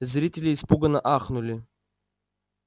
зрители испуганно ахнули